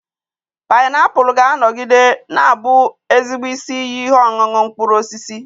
Painiapulu ga-anọgide na-abụ ezigbo isi iyi ihe ọṅụṅụ mkpụrụ osisi